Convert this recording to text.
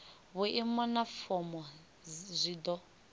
vhuimo na fomo zwi do